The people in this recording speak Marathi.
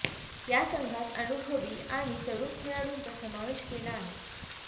या संघात अनुभवी आणि तरुण खेळाडूंचा समावेश केला आहे